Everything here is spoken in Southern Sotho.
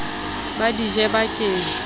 ba di je ba ke